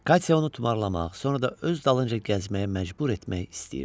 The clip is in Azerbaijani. Katya onu tumarlamaq, sonra da öz dalınca gəzməyə məcbur etmək istəyirdi.